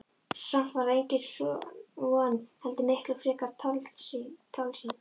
Og samt var það engin von heldur miklu fremur tálsýn.